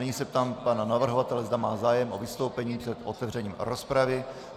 Nyní se ptám pana navrhovatele, zda má zájem o vystoupení před otevřením rozpravy.